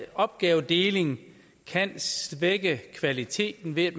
opgavedeling kan svække kvaliteten ved at